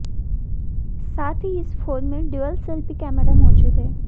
साथ ही इस फोन में डुअल सेल्फी कैमरा मौजूद हैं